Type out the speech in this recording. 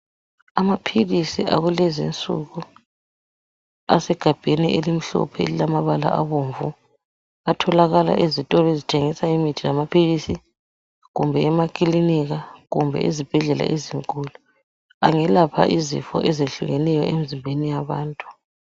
Amaphilisi akulezi insuku asegabheni elimhlophe elilamabala abomvu. Atholakala ezitolo ezithengisa imithi lamaphilisi kumbe emakiliniki, kumbe ezibhedlela ezinkulu. Angelapha izifo ezehlukeneyo emizimbeni yabantu.